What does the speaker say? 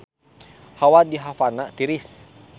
Hawa di Havana tiris